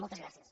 moltes gràcies